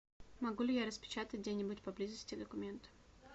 могу ли я распечатать где нибудь поблизости документы